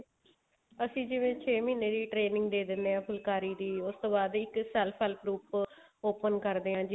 ਅਸੀਂ ਜਿਵੇਂ ਛੇ ਮਹੀਨੇ ਦੀ training ਦੇ ਦਿੰਨੇ ਆ ਫੁਲਕਾਰੀ ਦੀ ਉਸਤੋਂ ਬਾਅਦ ਇੱਕ self group open ਕਰਦੇ ਆਂ